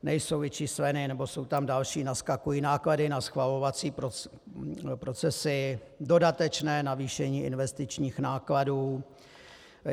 Nejsou vyčísleny nebo jsou tam další, naskakují náklady na schvalovací procesy, dodatečné navýšení investičních nákladů.